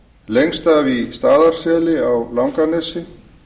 lengst af í staðarseli á langanesi